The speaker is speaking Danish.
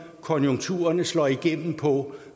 konjunkturerne slår igennem på